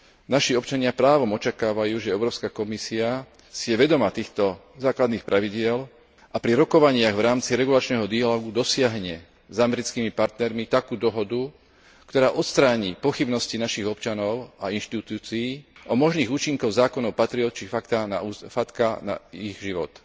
Naši občania právom očakávajú, že Európska komisia si je vedomá týchto základných pravidiel a pri rokovaniach v rámci regulačného dialógu dosiahne s americkými partnermi takú dohodu, ktorá odstráni pochybnosti našich občanov a inštitúcií o možných účinkoch zákonov Patriot či FACTA na ich život.